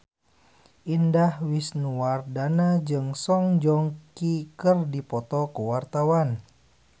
Indah Wisnuwardana jeung Song Joong Ki keur dipoto ku wartawan